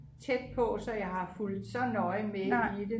tæt på så jeg har fulgt så nøje med i det